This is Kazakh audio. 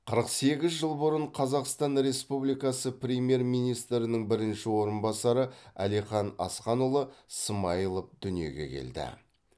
қырық сегіз жыл бұрын қазақстан республикасы премьер министрінің бірінші орынбасары әлихан асханұлы смайылов дүниеге келді